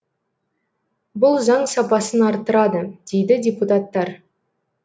бұл заң сапасын арттырады дейді депутаттар